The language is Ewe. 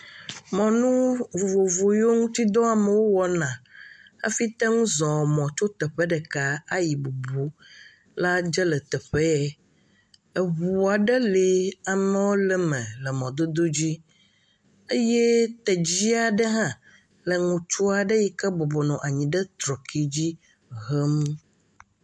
Mɔnu vovovo yiwo ŋutidɔ amewo wɔna hafi te ŋu zɔɔ mɔ tso teƒe ɖeka ayi bubu la dze le teƒe ye. Eŋu aɖe le amewo le me mɔdodo dzi, eye tedzi aɖe le ŋutsu aɖe yike bɔbɔ nɔ anyi ɖe trɔki dzi hem.